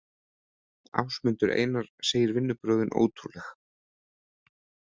Ásmundur Einar segir vinnubrögðin ótrúleg